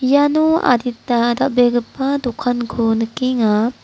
iano adita dal·begipa dokanko nikenga.